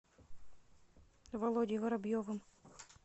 володей воробьевым